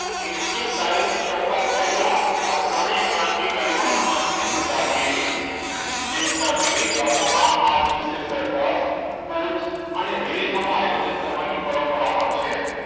નિશ્ચિત તારીખ કરતા વેલા આ ત્રણેય ક્રાંતિકારીઓને ફાંસી ની સજા આપી હતી દેશ ના વિવિધ ભાગો માં આ દિવસે કોચ અને રેલીઓનું આયોજન કરવાની પણ પરંપરા છે